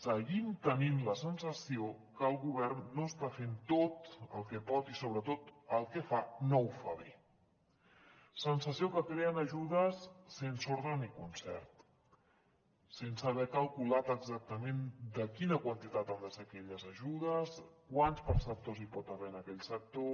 seguim tenint la sensació que el govern no està fent tot el que pot i sobretot el que fa no ho fa bé sensació que creen ajudes sense ordre ni concert sense haver calculat exactament de quina quantitat han de ser aquelles ajudes quants perceptors hi pot haver en aquell sector